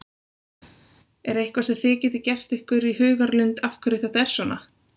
Er eitthvað sem þið getið gert ykkur í hugarlund af hverju þetta er svona?